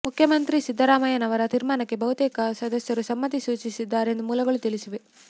ಮುಖ್ಯಮಂತ್ರಿ ಸಿದ್ದರಾಮಯ್ಯನವರ ತೀರ್ಮಾನಕ್ಕೆ ಬಹುತೇಕ ಸದಸ್ಯರು ಸಮ್ಮತಿ ಸೂಚಿಸಿದ್ದಾರೆ ಎಂದು ಮೂಲಗಳು ತಿಳಿಸಿವೆ